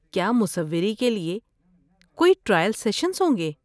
کیا مصوری کے لیے کوئی ٹرائل سیشنز ہوں گے؟